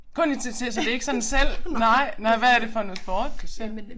Kun i TV så det ikke sådan selv nej men hvad er det for noget sport du ser